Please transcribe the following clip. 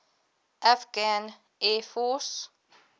afghan air force